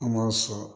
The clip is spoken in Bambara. An b'a sɔrɔ